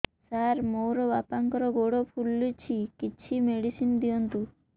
ସାର ମୋର ବାପାଙ୍କର ଗୋଡ ଫୁଲୁଛି କିଛି ମେଡିସିନ ଦିଅନ୍ତୁ